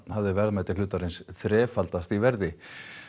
hafði verðmæti hlutarins þrefaldast í verði